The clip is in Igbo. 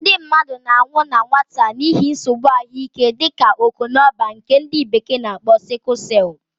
Ndị mmadụ na-anwụ na nwata n'ihi nsogbu ahụike dịka ọkpọnọbar, nke ndi bekee na akpo sickle celu